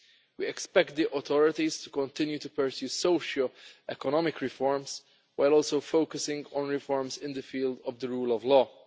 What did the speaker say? We expect the authorities to continue to pursue socio economic reforms while also focusing on reforms in the field of the rule of law.